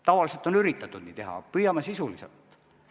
Tavaliselt on üritatud nii teha, aga püüame sisulisemalt.